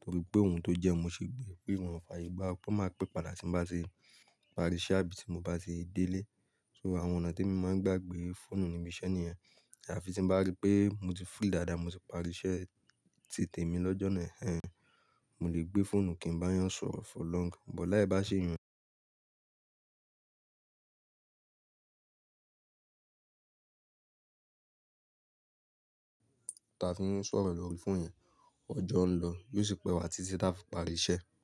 torí pé òun tó jẹ́ ẹni mo ti gbé, pé òun ò fààyè gba. Kó máa pè padà tí n bá ti párí iṣẹ́, àbí tí mo bá ṣe dé ilé. So àwọn ọ̀nà tí mo máa ń gbà gbé fóònù níbi iṣẹ́ nìyen. Àfi tí n bá rí pé mo ti free dáadáa, mo ti pàrí iṣẹ́, ti tèmi lọ́jọ́ náà, hhen, mo lè gbé fóònù kí n bá yàn sọ̀rọ̀ for long. Buh láì bá ṣe ìyẹn, ta fi ń sọ̀rọ̀ lórí fóònù yẹn, ọjọ́ ń lọ yi ó sì pẹ́ wa ti tí tá fi pàrí iṣẹ́.